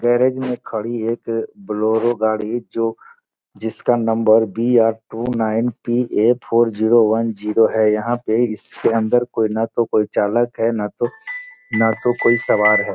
Garage में खड़ी है एक बोलोरो गाड़ी जो जिसका नंबर BR two nine PA four zero one zero है। यहाॅं पे इसके अंदर न तो कोई चालक है न तो कोई सवार है।